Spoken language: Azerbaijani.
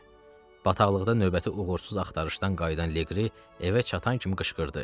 Bataqlıqdan növbəti uğursuz axtarışdan qayıdan Liqri evə çatan kimi qışqırdı: